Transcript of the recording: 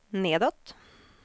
nedåt